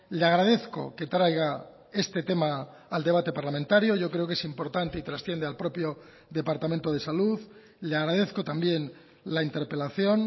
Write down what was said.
le agradezco que traiga este tema al debate parlamentario yo creo que es importante y trasciende al propio departamento de salud le agradezco también la interpelación